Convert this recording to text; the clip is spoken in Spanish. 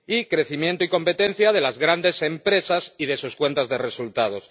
Y crecimiento y competencia de las grandes empresas y de sus cuentas de resultados.